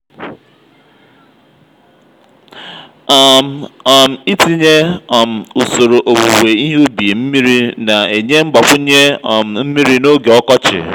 um um itinye um usoro owuwe ihe ubi mmiri na-enye mgbakwunye um mmiri n'oge ọkọchị.